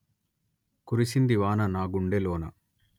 కురిసింది వాన నా గుండెలోన